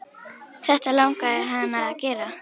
Þetta langaði hana að gera.